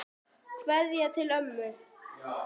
Kveðja til ömmu.